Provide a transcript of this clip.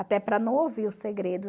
Até para não ouvir o segredo